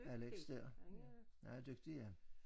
Alex der ja han er dygtig ja